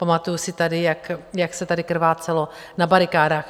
Pamatuju si tady, jak se tady krvácelo na barikádách.